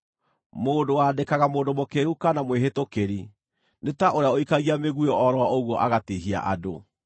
Mũndũ wandĩkaga mũndũ mũkĩĩgu kana mwĩhĩtũkĩri nĩ ta ũrĩa ũikagia mĩguĩ o ro ũguo agatiihia andũ.